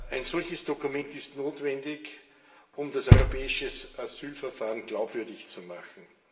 Ein solches Dokument ist notwendig, um das europäische Asylverfahren glaubwürdig zu machen.